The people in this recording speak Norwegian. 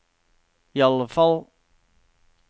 iallfall